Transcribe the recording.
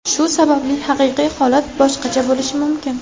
Shu sababli haqiqiy holat boshqacha bo‘lishi mumkin.